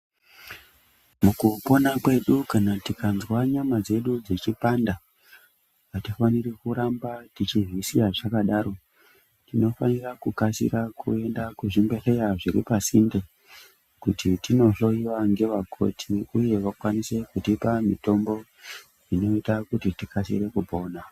Mukupona kwedu kana tikanzwa nyama dzedu dzichipanda, atifaniri kuramba tichizvisiya zvakadaro, tinofanira kukasira kuyenda kuzvibhedhleya zviri pasinde, kuti tinohloyiwa ngevakoti uye vakwanise kutipa mitombo inoyita kuti tikasire kupona.